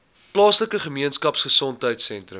plaaslike gemeenskapgesondheid sentrum